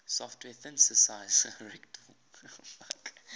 software synthesizer reaktor